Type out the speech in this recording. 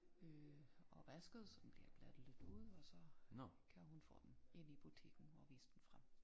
Øh og vasket så den bliver glattet lidt ud og så kan hun få den ind i butikken og vise den frem